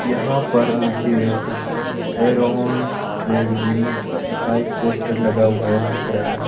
यहां पर मुझे एक एरोन ट्रेब जिम का एक पोस्टर लगा हुआ है दिख रहा है।